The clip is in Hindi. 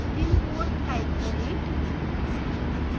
निम्न code type करें